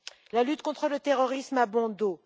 La lutte contre le terrorisme a bon dos.